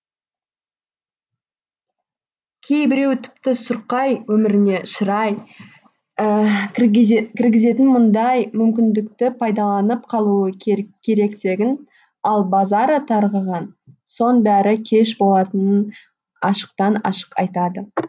кейбіреуі тіпті сұрқай өміріне шырай кіргізетін мұндай мүмкіндікті пайдаланып қалуы керектігін ал базары тарқыған соң бәрі кеш болатынын ашықтан ашық айтады